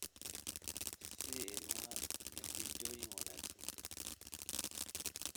Sii ilmaha natiijooyin wanaagsan